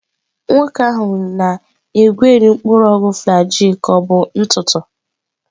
Nwoke ahụ na-egweri mpuru ogwu flajil ka ọ bụrụ ntụ ntụ.